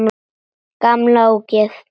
Gamla ógeð!